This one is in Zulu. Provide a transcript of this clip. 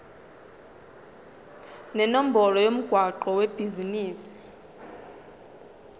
nenombolo yomgwaqo webhizinisi